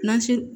N'an si